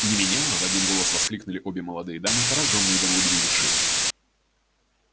не меняла в один голос воскликнули обе молодые дамы поражённые до глубины души